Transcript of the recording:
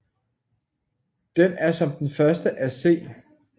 Den er som den første af C